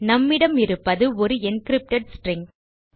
நம்மிடம் இருப்பது ஒரு என்கிரிப்டட் ஸ்ட்ரிங்